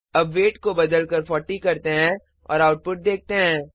अब वेट को बदलकर 40 करते हैं और आउटपुट देखते हैं